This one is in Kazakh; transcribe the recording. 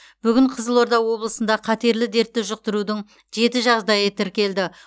бүгін қызылорда облысында қатерлі дертті жұқтырудың жеті жағдайы тіркелді